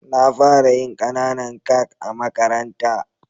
Na fara yin kananan kak a makaranta.